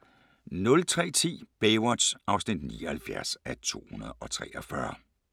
02:20: Baywatch (78:243) 03:10: Baywatch (79:243)